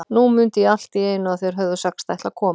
Nú mundi ég allt í einu að þeir höfðu sagst ætla að koma.